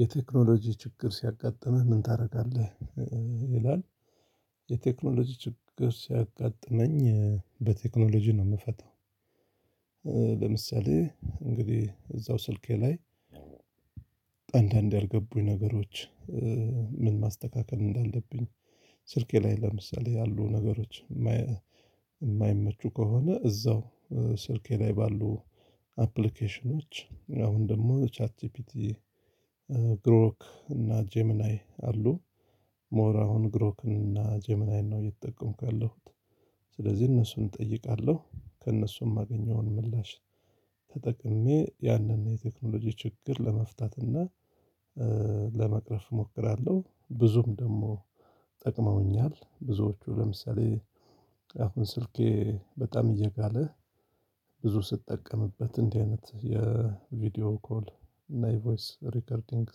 የቴክኖሎጂ ችግር ሲያጋጥምህ ምን ታደርጋለህ? ይላል የቴክኖሎጂ ችግር ሲያጋጥመኝ በቴክኖሎጂ ነው የምፈታው። ለምሳሌ እንግዲህ እዛው ስልኬ ላይ። አንዳንድ ያልገቡኝ ነገሮች ምን ማስተካከል እንዳለብኝ ስልኬ ላይ ለምሳሌ ያሉ ነገሮች። እማይመቹ ከሆነ እዛው ስልኬ ላይ ባሉ አፕሊኬሽኖች አሁን ደግሞ ቻርጂቢቲ ግሮክ እና ጀመናይ አሉ። ሞር አሁን ግሮክ እና ጀመናይን ነው እየተጠቀምኩ ያለሁት። ስለዚህ እነሱን እጠይቃለሁ ከእነሱም የማገኘውን ምላሽ ተጠቅሜ ያንን የቴክኖሎጂ ችግር ለመፍታት እና ለመቅረፍ እሞክራለሁ። ብዙም ደግሞ ጠቅመውኛል ብዙዎቹ ለምሳሌ። አሁን ስልኬ በጣም እየጋለ ብዙ ስትጠቀምበት እንዲህ አይነት የቪዲዮ ኮል እና የቮይስ ሪከርዲንግ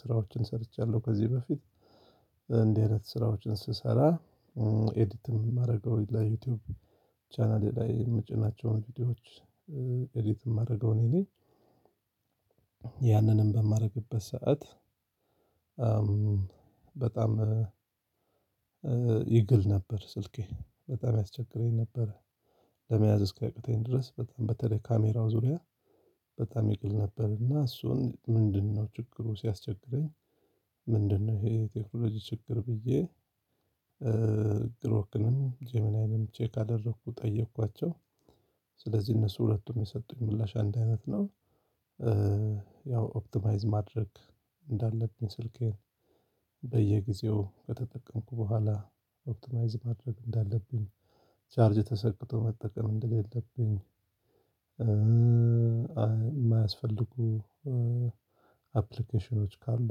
ስራዎችን ሰርቻለሁ ከዚህ በፊት። እንደዚህ አይነት ስራዎችን ስሰራ ኤዲት የማደርገው ለ ዩቲዩብ ቻናሌ ላይ የምጭናቸውን ቪዲዮዎች። ኤዲት የማደርገው እኔ ነኝ። ያንንም በማደርግበት ሰዓት በጣም ይግል ነበር ስልኬ በጣም ያስቸግረኝ ነበር። ለመያዝ እስኪአቅተኝ ድረስ በጣም በተለይ ካሜራው ዙሪያ። በጣም ይግል ነበር እና እሱን ምንድነው ችግሩ ሲያስቸግረኝ? ምንድነው ይሄ የቴክኖሎጂ ችግር ብዬ? ግሮክንም ጀማናይንም ቼክ አደረኩ ጠየኳቸው። ስለዚህ እነሱ ሁለቱም የሰጡኝ ምላሽ አንድ አይነት ነው። ያው ኦፕቲማይዝ ማድረግ እንዳለብኝ ስልኬን በየጊዜው ከተጠቀምኩ በኋላ ኦፕቲናይዝ ማድረግ እንዳለብኝ ቻርጅ ተሰቅቶ መጠቀም እንደሌለብኝ። የማያስፈልጉ አፕሊኬሽኖች ካሉ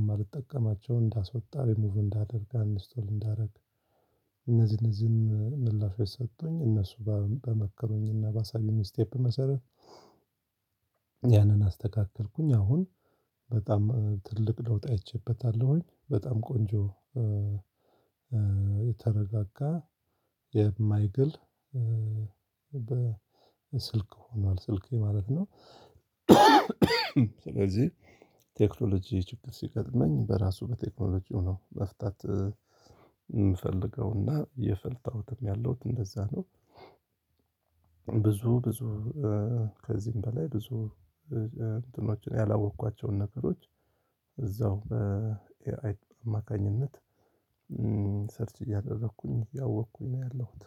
የማልጠቀማቸው እንዳስወጣ ሪሙቭ እንዳደርግ አንኢንስቶል እንዳደርግ። እነዚህ እነዚህን ምላሽ ሰጡኝ እነሱ በመከሩኝ እና ባሳዩኝ ስቴፕ መሰረት። ያንን አስተካከልኩኝ አሁን በጣም ትልቅ ለውጥ አይቼበታለሁኝ በጣም ቆንጆ የተረጋጋ የማይግል በስልክ ሆኗል ስልኬ ማለት ነው። ስለዚህ ቴክኖሎጂ ችግር ሲገጥመኝ በራሱ በቴክኖሎጂው የው መፍታት እምፈልገውና እየፈታሁትም ያለውት እንደዛ ነው። ብዙ ብዙ ከዚህም በላይ ብዙ እንትኖችን ያላወቅኳቸውን ነገሮች እዛው በ ኤአይ አማካኝነት ሰርች እያደረኩኝ እያወቅኩኝ ነው ያለሁት።